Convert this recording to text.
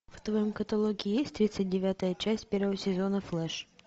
в твоем каталоге есть тридцать девятая часть первого сезона флэш